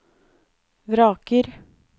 vraker